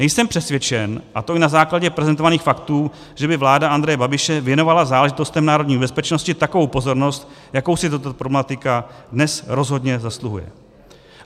Nejsem přesvědčen, a to i na základě prezentovaných faktů, že by vláda Andreje Babiše věnovala záležitostem národní bezpečnosti takovou pozornost, jakou si tato problematika dnes rozhodně zasluhuje.